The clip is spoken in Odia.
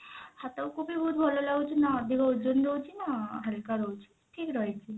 ହାତ କୁ ବି ବହୁତ ଭଲ ଲାଗୁଛି ନା ଅଧିକ ଓଜନ ରହୁଛି ନା ହାଲକା ରହୁଛି ଠିକ ରହିଛି